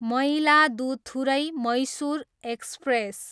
Mayiladuthurai, Mysuru express